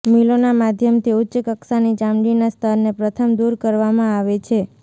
મિલોના માધ્યમથી ઉચ્ચ કક્ષાની ચામડીના સ્તરને પ્રથમ દૂર કરવામાં આવે છે